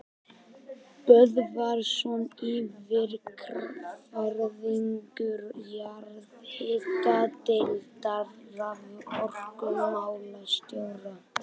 Böðvarsson yfirverkfræðingur jarðhitadeildar raforkumálastjóra.